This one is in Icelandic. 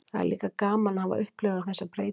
Það er líka gaman að hafa upplifað þessa breytingu.